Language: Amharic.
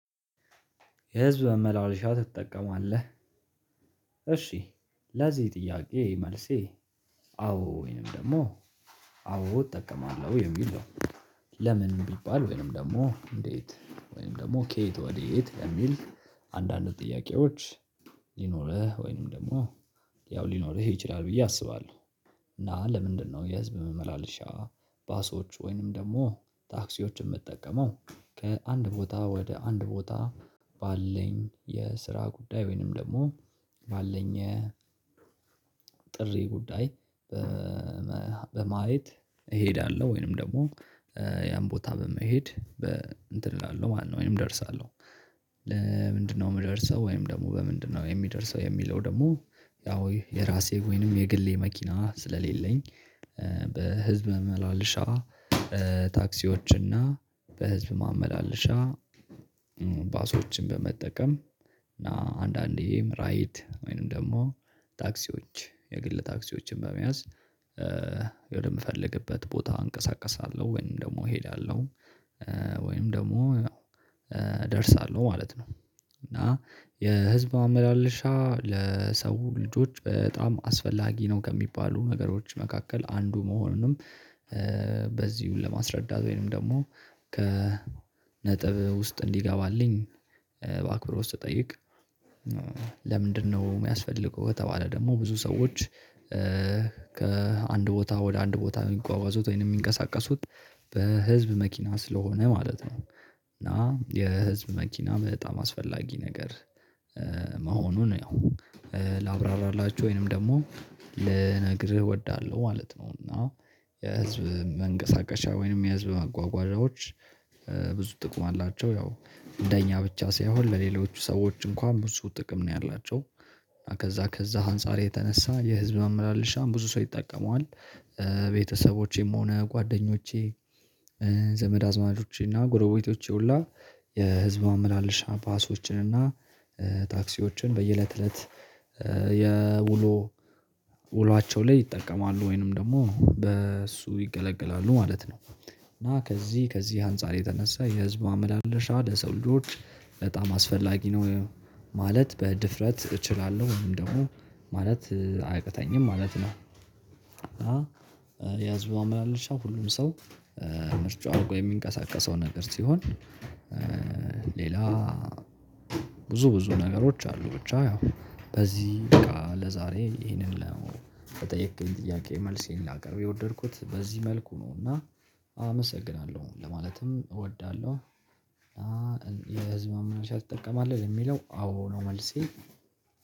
የህዝብ ማመላለሻ ትጠቀማለህ? እሺ ለዚህ ጥያቄ መልሴ አዎ ወይንም ደግሞ አዎ እጠቀማለሁ የሚል ነው። ለምን ቢባል ወይንም ደግሞ እንዴት ወይንም ደግሞ ከየት ወዴት የሚል አንዳንድ ጥያቄዎች ሊኖርህ ወይንም ደግሞ ያው ሊኖርህ ይችላል ብዬ አስባለሁ። እና ለምንድነው የህዝብ መመላለሻ ባሶች ወይንም ደግሞ ታክሲዎችን የምጠቀመው ከአንድ ቦታ ወደ አንድ ቦታ ባለኝ የስራ ጉዳይ ወይንም ደግሞ ባለኝ ጥሪ ጉዳይ በማየት እሄዳለሁ ወይንም ደግሞ ያን ቦታ በመሄድ በ እንትን ላለው ማነው ወይም እደርሳለሁ። ለምንድነው የምደርሰው ወይም ደግሞ በምንድነው የምደርሰው የሚለው ደግሞ ያው የራሴ ወይንም የግሌ መኪና ስለሌለኝ። በህዝብ መመላለሻ ታክሲዎች እና በህዝብ ማመላለሻ ባሶችን በመጠቀም እና አንዳንዴም ራይድ ወይንም ደግሞ ታክሲዎች የግል ታክሲዎችን በመያዝ ወደ የምፈልግበት ቦታ እንቀሳቀሳለሁ ወይም ደግሞ እሄዳለሁ ወይም ደግሞ እደርሳለሁ ማለት ነው። እና የህዝብ ማመላለሻ ለሰው ልጆች በጣም አስፈላጊ ነው ከሚባሉ ነገሮች መካከል አንዱ መሆኑንም ለማስረዳት ወይንም ደግሞ ከነጥብ ውስጥ እንዲገባልኝ በአክብሮት ስጠይቅ። ለምንድነው የሚያስፈልገው ከተባለ ደግሞ ብዙ ሰዎች ከአንድ ቦታ ወደ አንድ ቦታ የሚጓጓዙት ወይንም የሚንቀሳቀሱት በህዝብ መኪና ስለሆነ ማለት ነው። እና የህዝብ መኪና በጣም አስፈላጊ ነገር መሆኑን ያው ላብራራላችሁ ወይንም ደግሞ ልነግርህ እወዳለሁ ማለት ነው። እና የህዝብ መንቀሳቀሻ ወይንም የህዝብ መጓጓዣዎች ብዙ ጥቅም አላቸው ያው እንደኛ ብቻ ሳይሆን ለሌሎቹ ሰዎች እንኳን ብዙ ጥቅም ነው ያላቸው። ከዛ ከዛ አንፃር የተነሳ የህዝብ መመላለሻም ብዙ ሰው ይጠቀመዋል። ቤተሰቦቼም ሆነ ጓደኞቼ ዘመድ አዝማቾቼ እና ጎረቤቶቼ ሁሉ የህዝብ ማመላለሽ ባሶችን እና ታክሲዎችን በየእለት እለት የውሎ ውሏቸው ላይ ይጠቀማሉ ወይንም ደግሞ በእሱ ይገለገላሉ ማለት ነው። እና ከዚህ ከዚህ አንፃር የተነሳ የህዝብ ማመላለሻ ለሰው ልጆች በጣም አስፈላጊ ነው። ማለት በድፍረት እችላለሁ ወይም ደግሞ ማለት አያቅተኝም ማለት ነው። እና የህዝብ ማመላለሻ ሁሉም ሰው ምርጫው አድርጎ የሚንቀሳቀሰው ነገር ሲሆን ሌላ ብዙ ብዙ ነገሮች አሉ ብቻ ያው በዚህ ይበቃ ለዛሬ ይሄንን ነው ለጠየከኝ ጥያቄ መልሴን ላቀርብ የወደድኩት በዚህ መልኩ ነው። እና አመሰግናለሁ ለማለትም እወዳለሁ። የህዝብ ማመላለሻ ትጠቀማለህ ለሚለው አዎ ነው መልሴ